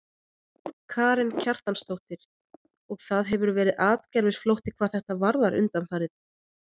Karen Kjartansdóttir: Og það hefur verið atgervisflótti hvað þetta varðar undanfarið?